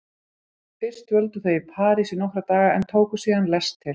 Fyrst dvöldu þau í París í nokkra daga en tóku síðan lest til